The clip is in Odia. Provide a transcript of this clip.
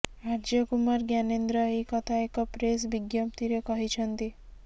ଆର୍ଯ୍ୟ କୁମାର ଜ୍ଞାନେନ୍ଦ୍ର ଏହି କଥା ଏକ ପ୍ରେସ୍ ବିଜ୍ଞପ୍ତିରେ କହିଛନ୍ତି